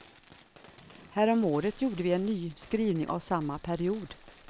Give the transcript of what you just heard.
Häromåret gjorde vi en ny skrivning av samma period.